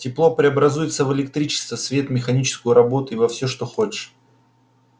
тепло преобразуется в электричество свет механическую работу и во все что хочешь